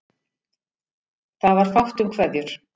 Það var fátt um kveðjur.